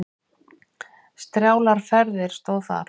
Strjálar ferðir stóð þar.